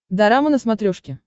дорама на смотрешке